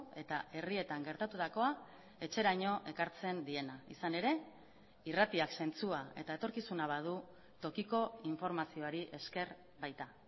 eta herrietan gertatutakoa etxeraino ekartzen diena izan ere irratiak zentzua eta etorkizuna badu tokiko informazioari esker baita